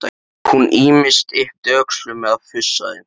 Hún ýmist yppti öxlum eða fussaði.